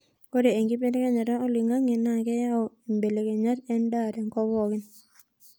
ore enkibelekenyat oloingangi naa keyau imbelekenyat e ndaa tenkop pookin